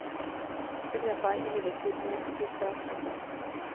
Begrepet er imidlertid mer komplisert enn det.